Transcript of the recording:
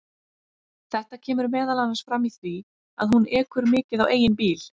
Þetta kemur meðal annars fram í því að hún ekur mikið á eigin bíl.